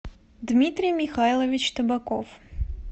дмитрий михайлович табаков